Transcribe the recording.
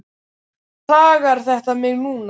Af hverju plagar þetta mig núna?